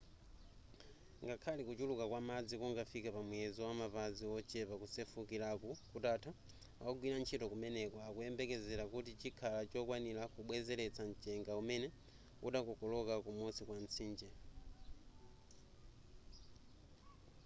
ngakhale kuchuluka kwa madzi kungafike pa muyezo wamapazi wochepa kusefukiraku kutatha ogwira ntchito kumeneku akuyembekezera kuti chikhala chokwanira kubwezeretsa mchenga umene udakokoloka kumusi kwa mtsinje